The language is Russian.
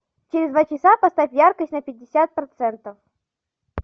через два часа поставь яркость на пятьдесят процентов